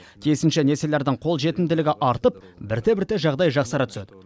тиісінше несиелердің қолжетімділігі артып бірте бірте жағдай жақсара түседі